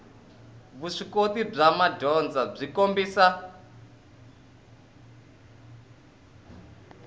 vuswikoti bya madyondza byi kombisa